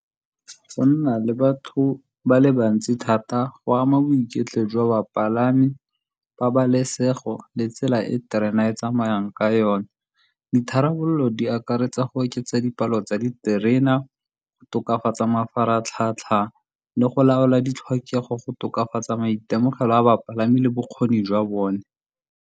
Go nna le batho ba le bantsi thata go ama boiketlo jwa bapalami, pabalesego le tsela e terena e tsamayang ka yone. Ditharabololo di akaretsa go oketsa dipalo tsa diterena, go tokafatsa mafaratlhatlha le go laola ditlhokego, go tokafatsa maitemogelo a bapalami le bokgoni jwa bone.